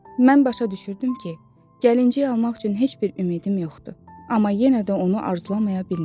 Mən başa düşürdüm ki, gəlincik almaq üçün heç bir ümidim yoxdur, amma yenə də onu arzulaya bilmirdim.